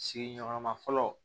Sigiɲɔgɔnya ma fɔlɔ